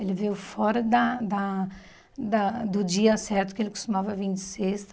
Ele veio fora da da da do dia certo, que ele costumava vim de sexta.